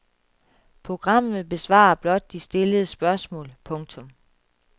Programmet besvarer blot de stillede spørgsmål. punktum